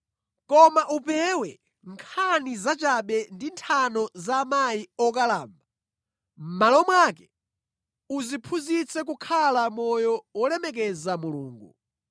Koma upewe nkhani zachabe ndi nthano za amayi okalamba; mʼmalo mwake udziphunzitse kukhala moyo wolemekeza Mulungu.